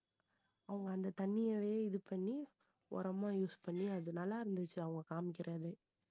அவங்க அந்த தண்ணியவே இது பண்ணி உரமா use பண்ணி அது நல்லா இருந்துச்சு அவங்க காமிக்கிறது